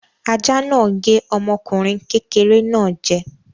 Ajá náà gé ọmọkùnrin kékeré náà jẹ.